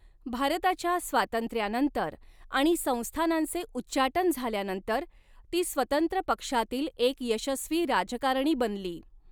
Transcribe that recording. भारताच्या स्वातंत्र्यानंतर आणि संस्थानांचे उच्चाटन झाल्यानंतर, ती स्वतंत्र पक्षातील एक यशस्वी राजकारणी बनली.